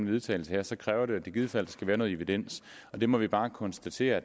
vedtagelse så kræver at der i givet fald skal være noget evidens og det må vi bare konstatere